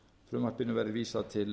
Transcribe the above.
frumvarpinu verði vísað til